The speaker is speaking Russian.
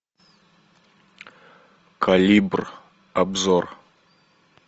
калибр обзор